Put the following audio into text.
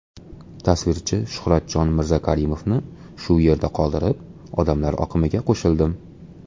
Tasvirchi Shuhratjon Mirzakarimovni shu yerda qoldirib, odamlar oqimiga qo‘shildim.